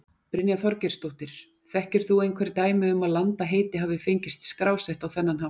Brynja Þorgeirsdóttir: Þekkir þú einhver dæmi um að landaheiti hafi fengist skrásett á þennan hátt?